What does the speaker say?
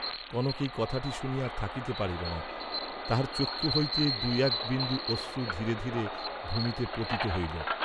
কনক এই কথাটি শুনিয়া আর থাকিতে পারিল না, তাহার চক্ষু হইতে দুই এক বিন্দু অশ্রু ধীরে ধীরে ভূমিতে পতিত হইল।